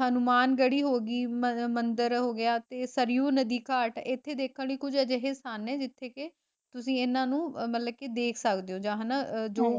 ਹਨੂੰਮਾਨ ਜੜੀ ਹੋਗੀ ਮ ਅਹ ਮੰਦਿਰ ਹੋ ਗਿਆ ਤੇ ਸਰਯੁ ਨਦੀ ਘਾਟ, ਇੱਥੇ ਦੇਖਣ ਲਈ ਕੁਝ ਅਜਿਹੇ ਸਥਾਨ ਨੇ ਜਿਥੇ ਕੇ ਤੁਸੀਂ ਇਹਨਾਂ ਨੂੰ ਅਹ ਮਤਲੱਬ ਕੀ ਦੇਖ ਸਕਦੇ ਹੋਂ ਹਨਾ ਜਿਨ੍ਹਾਂ